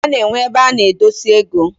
Ana enwe ebe ana edosi ego.